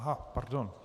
Aha. Pardon.